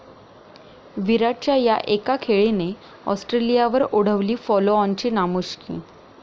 विराटच्या 'या' एका खेळीने ऑस्ट्रेलियावर ओढवली फॉलोऑनची नामुष्की